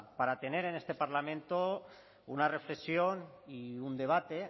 para tener en este parlamento una reflexión y un debate